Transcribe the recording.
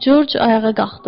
George ayağa qalxdı.